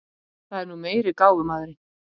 Það er nú meiri gáfumaðurinn.